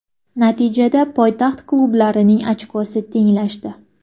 Natijada poytaxt klublarining ochkosi tenglashdi.